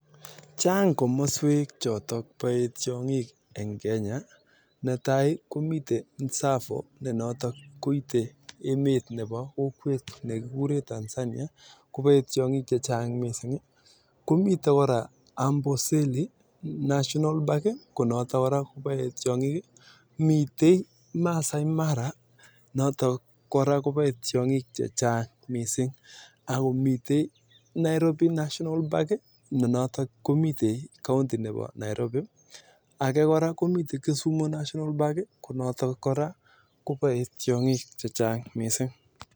Mitei tsavo ne notok koite emet ab Tanzania mitei koraa amboseli mitei koraa maasai mara ako mitei Nairobi national park ak kisumu national park